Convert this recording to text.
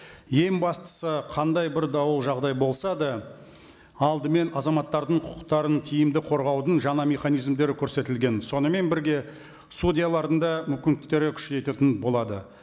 ең бастысы қандай бір дау жағдай болса да алдымен азаматтардың құқықтарын тиімді қорғаудың жаңа механизмдері көрсетілген сонымен бірге судьялардың да мүмкіндіктері күшейтетін болады